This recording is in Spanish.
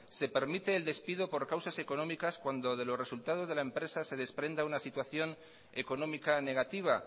se permite el despido por causas económicas cuando de los resultados de la empresa se desprenda una situación económica negativa